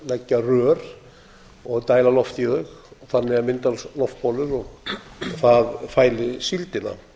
leggja rör og dæla lofti í þau þannig myndast loftbólur það fæli síldina